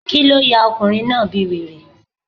Kíló ya ọkùnrin náà bí wèrè?